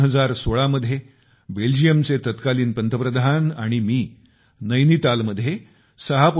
2016 मध्ये बेल्जियमचे तत्कालीन पंतप्रधान आणि मी नैनितालमध्ये 6